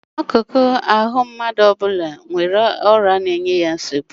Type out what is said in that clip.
Akụkụ ahụ mmadụ ọ bụla nwere ọrịa na-enye ya nsogbu